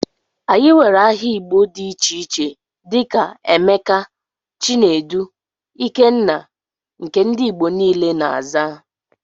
Anyị nwere áhà igbo dị iche iche dika; Emeka, Chinedu, Ikenna, nke ndị ìgbo niile na -aza.